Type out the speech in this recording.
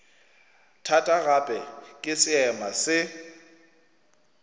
thata gape ke seema se